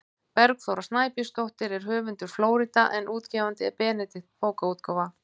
Bergþóra Snæbjörnsdóttir er höfundur „Flórída“ en útgefandi er Benedikt bókaútgáfa.